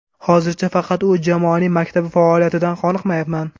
Hozircha faqat u. Jamoaning maktabi faoliyatidan qoniqayapman.